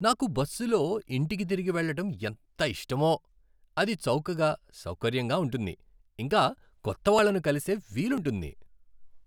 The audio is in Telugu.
నాకు బస్సులో ఇంటికి తిరిగి వెళ్ళటం ఎంత ఇష్టమో. అది చౌకగా, సౌకర్యంగా ఉంటుంది, ఇంకా కొత్తవాళ్ళను కలిసే వీలుంటుంది.